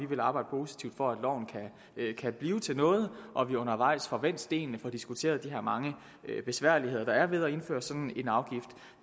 vil arbejde positivt for at loven kan blive til noget og at vi undervejs får vendt stenene får diskuteret de her mange besværligheder der er ved at indføre sådan